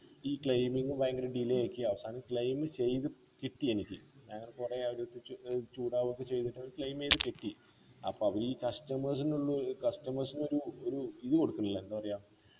ഈ claiming ഭയങ്കര delay ആക്കി അവസാനം claim ചെയ്ത് കിട്ടി എനിക്ക് അങ്ങനെ കൊറേ അവരടുത്തച്ച് ചൂടാവു ഒക്കെ ചെയ്തിട്ട് claim ചെയ്തുകിട്ടി അപ്പൊ ഈ customers നുള്ളു ഈ customers നൊരു ഒരു ഇത് കൊടുക്കുന്നില്ല എന്താ പറയാ